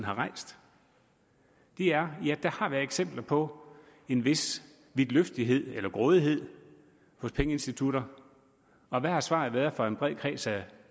har rejst ja der har været eksempler på en vis vidtløftighed eller grådighed hos pengeinstitutter og hvad har svaret været fra en bred kreds af